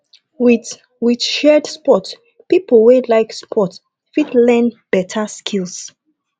with with shared sport pipo wey like sport fit learn better skills